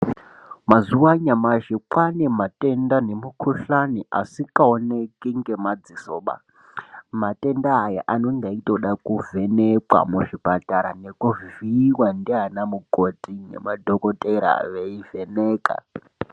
Mazuwa anyamashi kwaane matenda nemukhuhlani asikaoneki ngemadzisoba matenda aya anenge achitoda kuvhenekwa muzvipatara nekuvhiiwa ndiana mukoti nemadhokotera achivheneka.